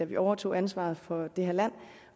vi overtog ansvaret for det her land